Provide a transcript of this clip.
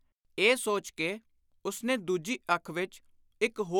” ਇਹ ਸੋਚ ਕੇ ਉਸਨੇ ਦੂਜੀ ਅੱਖ ਵਿਚ ਇਕ ਹੋਰ